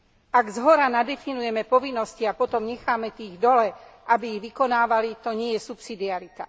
Ak zhora nadefinujeme povinnosti a potom necháme tých dole, aby ich vykonávali, to nie je subsidiarita.